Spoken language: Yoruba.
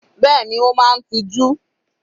Bẹ́ẹ̀ni, Ó máa ń tiju.